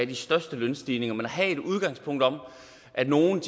de største lønstigninger men at have et udgangspunkt om at nogle